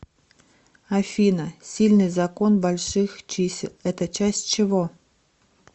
афина сильный закон больших чисел это часть чего